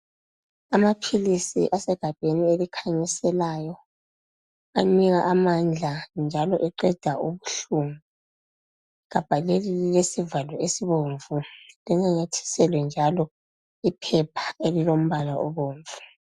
Amaphilisi asegabheni elikhanyiselayo anika amandla njalo eqeda ubuhlungu, igabha leli lilesivalo esibomvu linamathiselwe njalo iphepha elilombala obomvu.